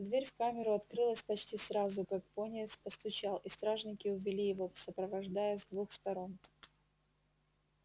дверь в камеру открылась почти сразу как пониетс постучал и стражники увели его сопровождая с двух сторон